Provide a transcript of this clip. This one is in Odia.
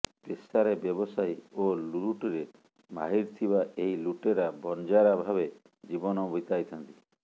ପେସାରେ ବ୍ୟବସାୟୀ ଓ ଲୁଟରେ ମାହିର ଥିବା ଏହି ଲୁଟେରା ବନଜାରା ଭାବେ ଜୀବନ ବାତିଇଥାନ୍ତି